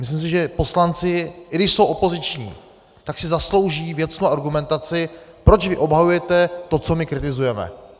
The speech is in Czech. Myslím si, že poslanci, i když jsou opoziční, tak si zaslouží věcnou argumentaci, proč vy obhajujete to, co my kritizujeme.